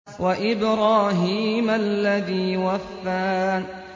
وَإِبْرَاهِيمَ الَّذِي وَفَّىٰ